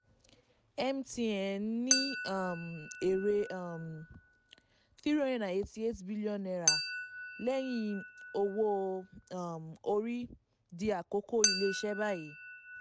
mtn ní um èrè um n three hundred eighty eight point eight bn lẹ́yìn owó um orí di àkọ́kọ́ ilé-iṣẹ́ báyìí.